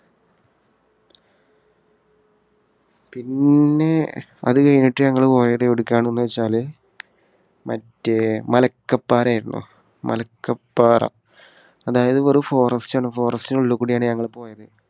പിന്നെ അത് കഴിഞ്ഞിട്ട് ഞങ്ങൾ പോയത് എവിടെക്കാണെന്ന് വെച്ചാല് മറ്റേ മലക്കപ്പാറ ആയിരുന്നു. മലക്കപ്പാറ. അതായത് വെറും forest ആണ്. forest ന് ഉള്ളിൽകൂടിയാണ് ഞങ്ങൾ പോയത്.